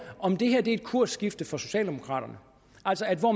om det her er et kursskifte for socialdemokraterne